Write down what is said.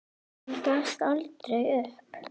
Hann gafst aldrei upp.